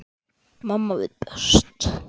Mamma veit best.